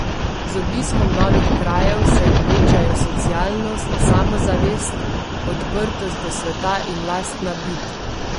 Z obiskom novih krajev se jim večajo socialnost, samozavest, odprtost do sveta in lastna bit.